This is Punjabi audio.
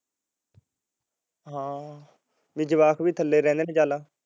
ਹਾਂ ਵੀ ਜਵਾਕ ਵੀ ਥੱਲੇ ਰਹਿੰਦੇ ਨੇ ਚੱਲ